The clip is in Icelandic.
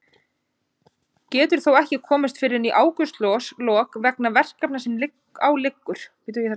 Getur þó ekki komist fyrr en í ágústlok vegna verkefna sem á liggur.